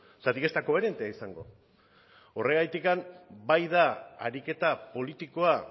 zergatik ez da koherentea izango horregatik bai da ariketa politikoa